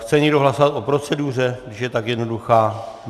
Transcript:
Chce někdo hlasovat o proceduře, když je tak jednoduchá?